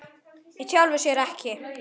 Í sjálfu sér ekki.